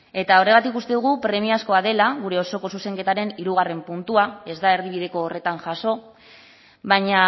eta horregatik uste dugu premiazkoa dela gure osoko zuzenketaren hirugarrena puntua ez da erdibideko horretan jaso baina